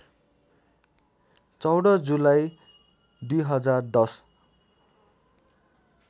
१४ जुलाई २०१०